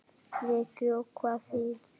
Breki: Og hvað þýðir það?